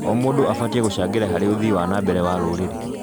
O mũndũ abatie gũcsngĩra harĩ ũthii wa na mbere wa rũrĩrĩ.